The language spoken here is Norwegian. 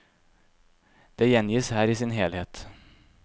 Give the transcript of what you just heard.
Det gjengis her i sin helhet.